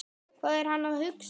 Hvað er hann að hugsa?